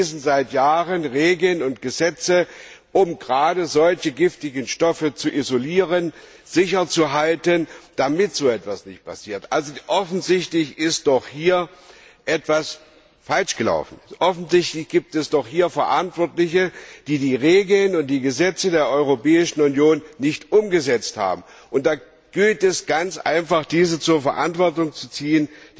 Denn wir beschließen seit Jahren Regeln und Gesetze, um gerade solche giftigen Stoffe zu isolieren, sicher zu halten, damit so etwas nicht passiert. Offensichtlich ist hier etwas falsch gelaufen, offensichtlich gibt es hier Verantwortliche, die die Regeln und Gesetze der Europäischen Union nicht umgesetzt haben. Da gilt es ganz einfach, diese zur Verantwortung zu ziehen.